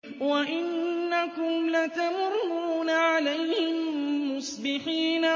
وَإِنَّكُمْ لَتَمُرُّونَ عَلَيْهِم مُّصْبِحِينَ